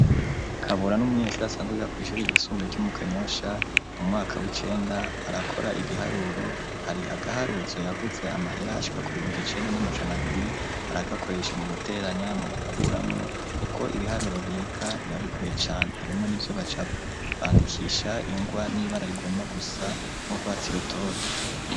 Kabura n'umunyeshure asanzwe yiga kw'ishure ry'isumbuye ryo mu kanyosha mu mwaka w'icenda arakora ibiharuro hari agaharuzo yaguze amahera ashika ku bihumbi icenda n'amajana abiri aragakoresha mu guteranya mu gukuramwo kuko ibiharuro biga biragoye cane harimo n'ivyo baca bandikisha ingwa n'ibara rigomba gusa n'obwatsi rutoto.